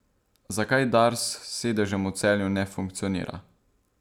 Zakaj Dars s sedežem v Celju ne funkcionira?